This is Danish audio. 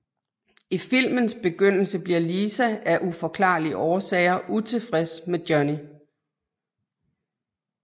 I filmens begyndelse bliver Lisa af uforklarlige årsager utilfreds med Johnny